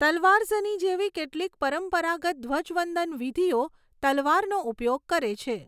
તલવારઝની જેવી કેટલીક પરંપરાગત ધ્વજવંદન વિધિઓ તલવારનો ઉપયોગ કરે છે.